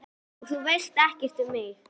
Og þú veist ekkert um mig